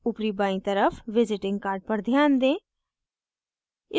ऊपरी बायीं तरफ़ visiting card पर ध्यान दें